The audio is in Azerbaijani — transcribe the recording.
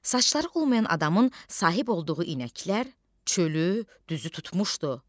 Saçları olmayan adamın sahib olduğu inəklər çölü, düzü tutmuşdu.